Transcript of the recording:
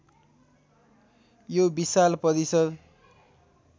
यो विशाल परिसर